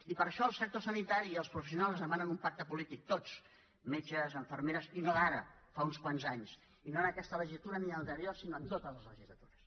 i per això el sector sanitari i els professionals ens demanen un pacte polític tots metges infermeres i no d’ara fa uns quants anys i no en aquesta legislatura ni l’anterior sinó en totes les legislatures